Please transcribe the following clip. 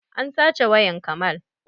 An sace wayan kamal